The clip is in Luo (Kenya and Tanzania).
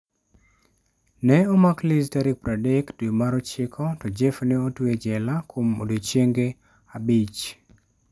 Ne omak Liz tarik 30 dwe mar ochiko, to Jeff ne otwe e jela kuom odiechienge abich.